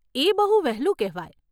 એ બહુ વહેલું કહેવાય.